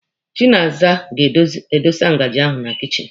Chinaza ga-adọsa ngaji ahụ na kichin.